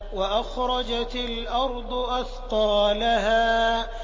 وَأَخْرَجَتِ الْأَرْضُ أَثْقَالَهَا